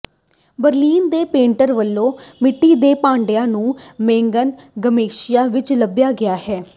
Berlin ਦੀ painter ਵੱਲੋਂ ਮਿੱਟੀ ਦੇ ਭਾਂਡਿਆਂ ਨੂੰ ਮੈਗਨਾ ਗਰੈਸੀਆ ਵਿਚ ਲੱਭਿਆ ਗਿਆ ਹੈ